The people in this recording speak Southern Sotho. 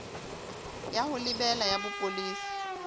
ya ho lebela ya bopolesa